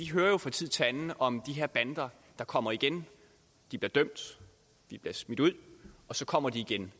hører jo fra tid til anden om de her bander der kommer igen de bliver dømt de bliver smidt ud og så kommer de igen